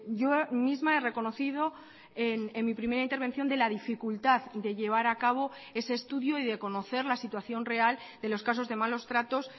yo misma he reconocido en mi primera intervención de la dificultad de llevar a cabo ese estudio y de conocer la situación real de los casos de malos tratos